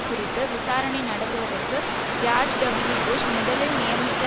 குறித்து விசாரணை நடத்துவதற்கு ஜார்ஜ் டபுள்யூ புஷ் முதலில் நியமித்த